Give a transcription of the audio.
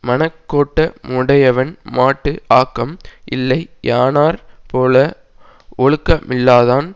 மனக்கோட்ட முடையவன்மாட்டு ஆக்கம் இல்லை யானாற் போல ஒழுக்கமில்லாதான்